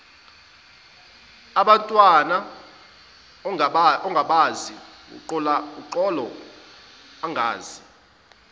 ebantwin ongabazi uxoloangazi